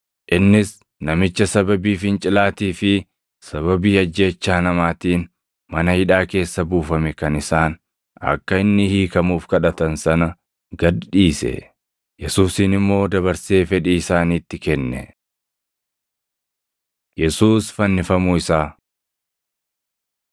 Innis namicha sababii fincilaatii fi sababii ajjeechaa namaatiin mana hidhaa keessa buufame kan isaan akka inni hiikamuuf kadhatan sana gad dhiise; Yesuusin immoo dabarsee fedhii isaaniitti kenne. Yesuus Fannifamuu Isaa 23:33‑43 kwf – Mat 27:33‑44; Mar 15:22‑32; Yoh 19:17‑24